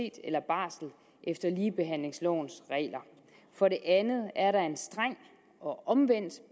eller barsel efter ligebehandlingslovens regler for det andet er der en streng og omvendt